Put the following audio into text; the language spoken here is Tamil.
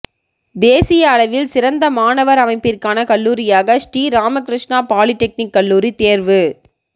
தேசியளவில் சிறந்த மாணவா் அமைப்பிற்கான கல்லூரியாக ஸ்ரீராமகிருஷ்ணா பாலிடெக்னிக் கல்லூரி தோ்வு